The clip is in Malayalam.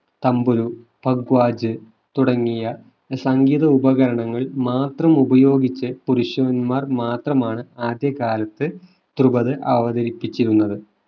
തംബുരു ഭഗ്വാജ് തുടങ്ങിയ സംഗീത ഉപകരണങ്ങൾ മാത്രം ഉപയോഗിച്ച് പുരുഷന്മാർ മാത്രമാണ് ആദ്യകാലത്ത് ദ്രുപത് അവതരിപ്പിച്ചിരുന്നത്.